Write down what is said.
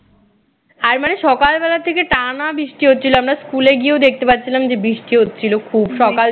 আর মানে সকাল বেলা থেকে টানা বৃষ্টি হচ্ছিল আমরা স্কুলে গিয়েও দেখতে পাচ্ছিলাম যে বৃষ্টি হচ্ছিল খুব সকাল